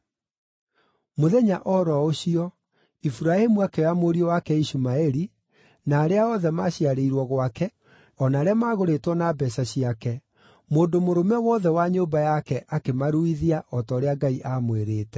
Mũthenya o ro ũcio, Iburahĩmu akĩoya mũriũ wake Ishumaeli, na arĩa othe maciarĩirwo gwake, o na arĩa magũrĩtwo na mbeeca ciake, mũndũ mũrũme wothe wa nyũmba yake, akĩmaruithia, o ta ũrĩa Ngai aamwĩrĩte.